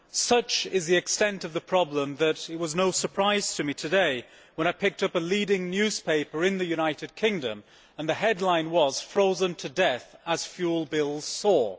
Such is the extent of the problem that it was no surprise to me today when I picked up a leading newspaper in the United Kingdom and the headline was Frozen to death as fuel bills soar'.